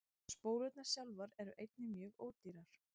Spólurnar sjálfar eru einnig mjög ódýrar.